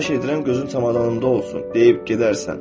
Xahiş edirəm gözün çamadanımda olsun deyib gedərsən.